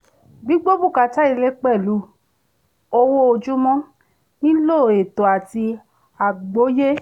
gbígbó bùkátà ilé pèlú owó ojúmọ nílò ètò àti àgbóyé